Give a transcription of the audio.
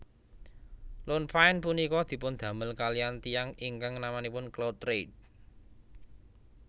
Lone Pine punika dipundamel kaliyan tiyang ingkang namanipun Claude Reid